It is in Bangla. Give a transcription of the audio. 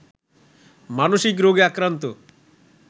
মানসিক রোগে আক্রান্ত